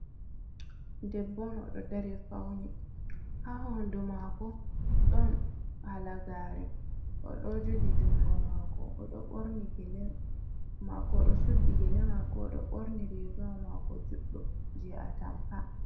Debbo on odo dari fauni ha hodu mako don halagare, o do jogi jungo mako odo borni gele mako odo suddi gele mako odo borni rigawa mako juddum je a tampa.